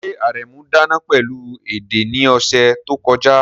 Ṣé Aremu dáná pẹ̀lú ede ní ọ̀sẹ̀ tó kọjá?